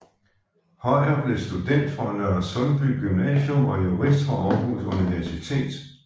Høyer blev student fra Nørresundby Gymnasium og jurist fra Aarhus Universitet